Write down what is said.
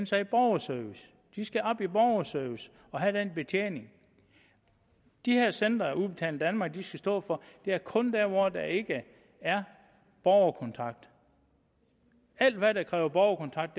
sig i borgerservice de skal op i borgerservice og have den betjening de her centre udbetaling danmark skal stå for er kun der hvor der ikke er borgerkontakt alt hvad der kræver borgerkontakt